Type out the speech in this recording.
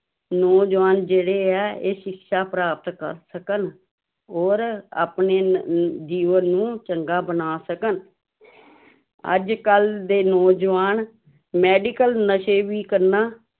ਨੌਜਵਾਨ ਜਿਹੜੇ ਹੈ ਇਹ ਸਿਕਸ਼ਾ ਪ੍ਰਾਪਤ ਕਰ ਸਕਣ ਔਰ ਆਪਣੇ ਨ ਜੀਵਨ ਨੂੰ ਚੰਗਾ ਬਣਾ ਸਕਣ ਅੱਜ ਕੱਲ੍ਹ ਦੇ ਨੌਜਵਾਨ medical ਨਸ਼ੇ ਵੀ ਕਰਨਾ